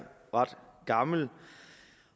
ret gammel